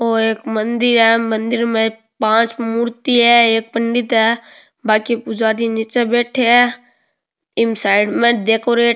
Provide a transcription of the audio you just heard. ओ एक मंदिर है मंदिर में पांच मूर्ति है एक पंडित है बांकी पुजारी निचे बैठे है एम साइड में डेकोरेट --